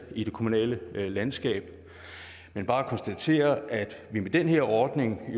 i det kommunale landskab men bare konstatere at vi med den her ordning